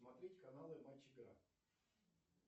смотреть каналы матч игра